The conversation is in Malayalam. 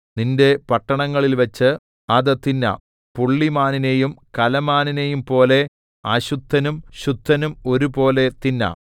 നിന്റെ പട്ടണങ്ങളിൽവച്ച് അത് തിന്നാം പുള്ളിമാനിനെയും കലമാനിനെയുംപോലെ അശുദ്ധനും ശുദ്ധനും ഒരുപോലെ തിന്നാം